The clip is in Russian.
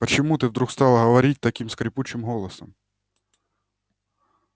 почему ты вдруг стала говорить таким скрипучим голосом